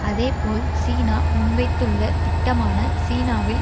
அதே போல் சீனா முன்வைத்துள்ள திட்டமான சீனாவில்